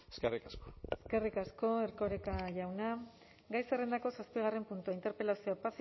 eskerrik asko eskerrik asko erkoreka jauna gai zerrendako zazpigarren puntua interpelazioa